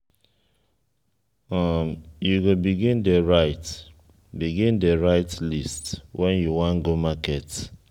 you go begin dey write begin dey write list wen you wan go market.